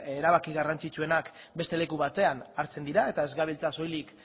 erabaki garrantzitsuenak beste leku batean hartzen dira eta ez gabiltza soilik